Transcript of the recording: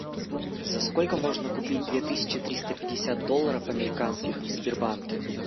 за сколько можно купить две тысячи триста пятьдесят долларов американских в сбербанке